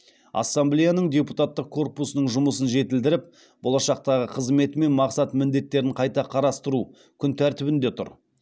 ассамблеяның депутаттық корпусының жұмысын жетілдіріп болашақтағы қызметі мен мақсат міндеттерін қайта қарастыру күн тәртібінде тұр